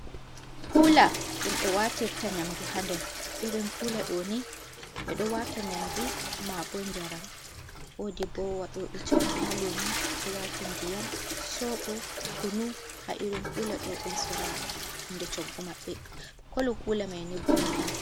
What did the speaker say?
Kuula, ɗum ɓe watirta nyamdu, haa nder irin kuula ɗooni, ɓe ɗo waata nyamdu maabo njaram, woodi ɓo waɗoo ɓe shoggu haa luumo, waata ndiyam, sooɓo, kunu, haa irin kuula ɗo ɓe soora, hunɗe shoggu maɓɓe kolk kuula mai ni bulu on.